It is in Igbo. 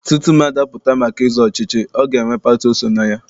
Tutu mmadụ apụta maka ịzọ ọchịchị, ọ ga-enwe pati o so na ya.